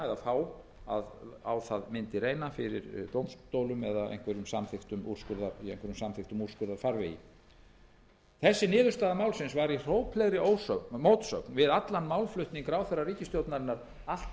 að láta á það reyna fyrir dómstólum eða í einhverjum samþykktum úrskurðarfarvegi þessi niðurstaða málsins var í hróplegri mótsögn við allan málflutning ráðherra ríkisstjórnarinnar allt